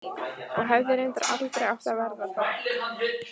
Og hefði reyndar aldrei átt að verða það.